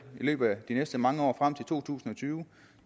i løbet af de næste mange år frem til to tusind og tyve